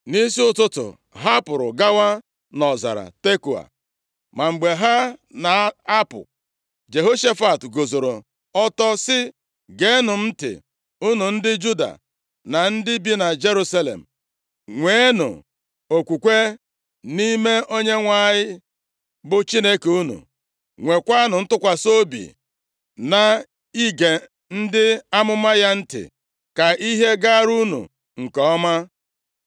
Nʼisi ụtụtụ, ha pụrụ gawa nʼọzara Tekoa. Ma mgbe ha na-apụ, Jehoshafat guzoro ọtọ sị, “Geenụ m ntị, unu ndị Juda na ndị bi na Jerusalem. Nweenụ okwukwe nʼime Onyenwe anyị bụ Chineke unu, nwekwanụ ntụkwasị obi na ige ndị amụma ya ntị, ka ihe gaara unu nke ọma.”